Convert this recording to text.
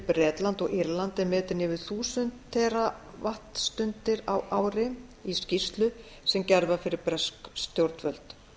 bretland og írland er metin yfir þúsund tera vattstundir á ári í skýrslu sem gerð var fyrir bresk stjórnvöld